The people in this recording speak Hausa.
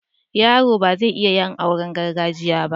Yero ba zai iya yin auren gargajiya ba